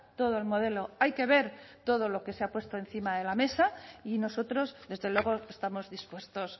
todo el modelo hay que ver todo lo que se ha puesto encima de la mesa y nosotros desde luego estamos dispuestos